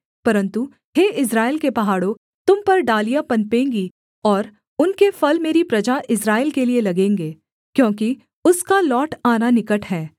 परन्तु हे इस्राएल के पहाड़ों तुम पर डालियाँ पनपेंगी और उनके फल मेरी प्रजा इस्राएल के लिये लगेंगे क्योंकि उसका लौट आना निकट है